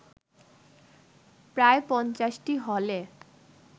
প্রায় পঞ্চাশটি হলে